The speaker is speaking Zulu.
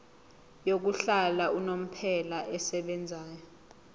yokuhlala unomphela esebenzayo